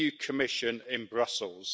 Commission in Brussels.